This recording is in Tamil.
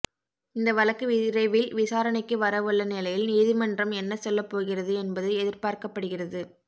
இந்த வழக்கு விரைவில் விசாரணைக்கு வர உள்ள நிலையில் நீதிமன்றம் என்ன சொல்லப்போகிறது என்பது எதிர்பார்க்கப்படுகிறது